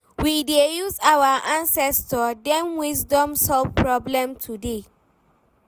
We dey use our ancestor dem wisdom solve problem today